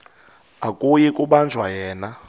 akuyi kubanjwa yena